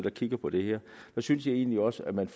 og kigger på det her så synes jeg egentlig også at man